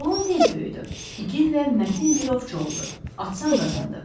Oğlan tez böyüdü, igid və mətin bir ovçu oldu, ad-san qazandı.